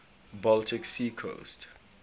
baltic sea coast